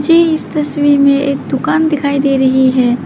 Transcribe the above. मुझे इस तस्वीर मे एक दुकान दिखाई दे रही है।